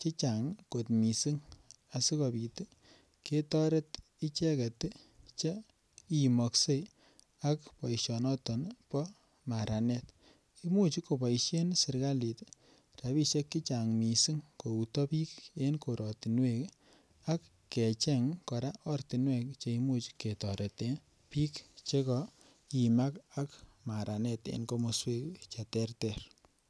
chechang kot mising asigopit ketoret icheget che imokse ak boisionoto bo maranet. Imuch koboisien serkalit rapisiek che chang mising kouto biik en koratinwek ak kecheng kora ortinwek che imuch ketoreten biik che kaimak ak maranet en komoswek che terter.